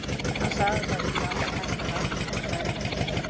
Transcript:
Hann sagði að það yrði alveg hægt að raka saman seðlum.